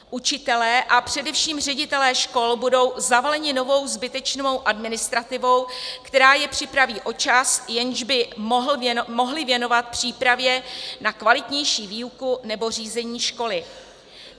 Učitelé a především ředitelé škol budou zavaleni novou zbytečnou administrativou, která je připraví o čas, jejž by mohli věnovat přípravě na kvalitnější výuku nebo řízení školy.